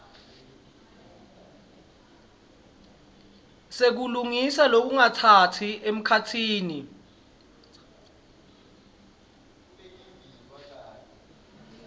sekulungisa lokungatsatsa emkhatsini